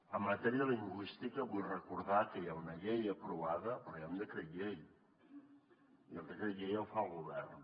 en matèria lingüística vull recordar que hi ha una llei aprovada però hi ha un decret llei i el decret llei el fa el govern